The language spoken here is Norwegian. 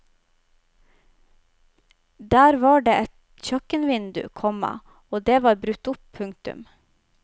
Der var det et kjøkkenvindu, komma og det var brutt opp. punktum